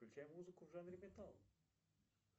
включай музыку в жанре металл